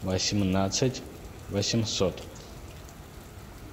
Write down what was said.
восемнадцать восемьсот